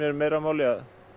meira máli